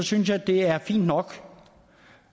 synes at det er fint nok